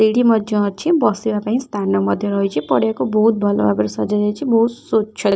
ଏଇଠୀ ମଧ୍ୟ ଅଛି ବସିବା ପାଇଁ ସ୍ଥାନ ମଧ୍ୟ ରହିଛି। ପଡ଼ିଆ କୁ ବହୁତ୍ ଭଲ ଭାବରେ ସଜା ଯାଇଛି। ବହୁତ୍ ସୁନ୍ଦର୍।